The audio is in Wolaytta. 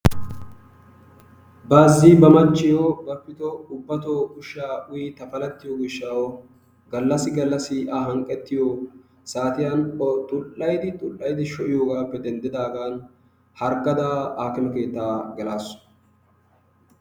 baazi ba machchiyo bapito ubbatoo ushsha uyyi tapalattiyo gishshaw gallassi gallassi a hanqqetiyo saatiyaan o xull''ayddi xull'ayddi shoo'iyoogappe denddidaagan harggada aakime keetta gelaasu.